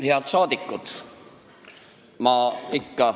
Head rahvasaadikud!